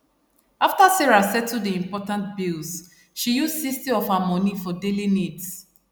after sarah settle the important bills she use 60 of her money for daily needs